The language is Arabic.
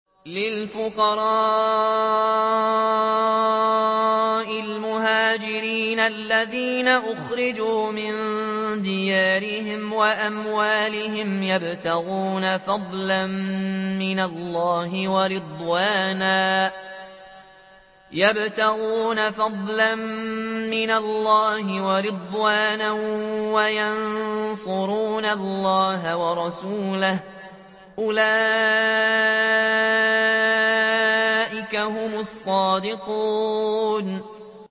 لِلْفُقَرَاءِ الْمُهَاجِرِينَ الَّذِينَ أُخْرِجُوا مِن دِيَارِهِمْ وَأَمْوَالِهِمْ يَبْتَغُونَ فَضْلًا مِّنَ اللَّهِ وَرِضْوَانًا وَيَنصُرُونَ اللَّهَ وَرَسُولَهُ ۚ أُولَٰئِكَ هُمُ الصَّادِقُونَ